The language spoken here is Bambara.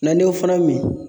Na ne o fana min